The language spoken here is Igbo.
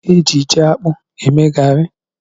Eji ji akpụ eme garị.